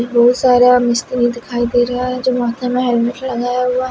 बहुत सारा मस्त दिखाई दे रहा है जो माथे में हेलमेट है।